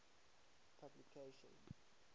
publication